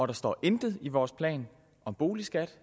der står intet i vores plan om boligskat